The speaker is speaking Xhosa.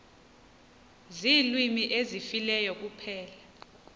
ziilwimi ezifileyo kuphela